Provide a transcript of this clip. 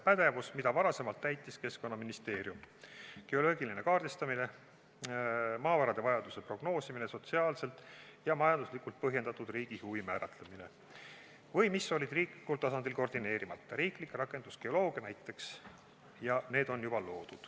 Varem täitis neid ülesandeid Keskkonnaministeerium – geoloogiline kaardistamine, maavarade vajaduse prognoosimine, sotsiaalselt ja majanduslikult põhjendatud riigi huvi määratlemine – või olid need riiklikul tasandil koordineerimata, riiklik rakendusgeoloogia näiteks.